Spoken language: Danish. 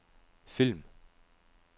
film